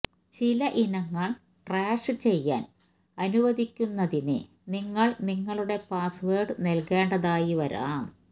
ചില ഇനങ്ങൾ ട്രാഷ് ചെയ്യാൻ അനുവദിക്കുന്നതിന് നിങ്ങൾ നിങ്ങളുടെ പാസ്വേഡ് നൽകേണ്ടതായി വരാം